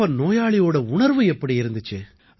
அப்ப நோயாளியோட உணர்வு எப்படி இருக்குது